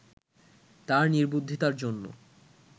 তার নির্বুদ্ধিতার জন্য